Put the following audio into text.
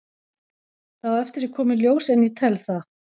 Það á eftir að koma í ljós en ég tel það.